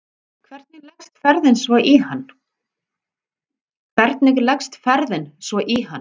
Hvernig leggst ferðin svo í hann?